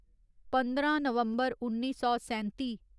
पंदरां नवम्बर उन्नी सौ सैंत्ती